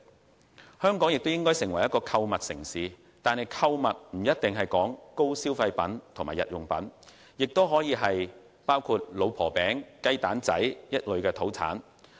最後，香港應發展成為購物城市，購物不一定限於高消費品或日用品，也可推廣老婆餅、雞蛋仔之類的土產。